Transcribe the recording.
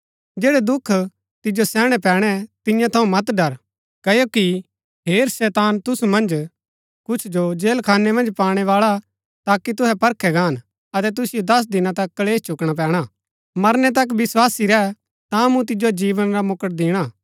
जैड़ै दुख तिजो सैहणै पैणै तियां थऊँ मत डर क्ओकि हेर शैतान तुसू मन्ज कुछ जो जेलखाने मन्ज पाणै बाळा हा ताकि तुहै परखै गाहन अतै तुसिओ दस दिना तक कलेश चुकणा पैणा मरनै तक विस्वासी रैह ता मूँ तिजो जीवन रा मुकुट दिणा